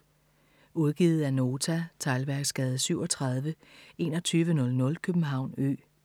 Udgivet af Nota Teglværksgade 37 2100 København Ø